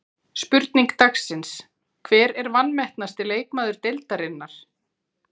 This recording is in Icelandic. Spurning dagsins: Hver er vanmetnasti leikmaður deildarinnar?